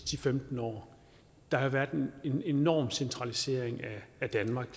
til femten år hvor der har været en enorm centralisering af danmark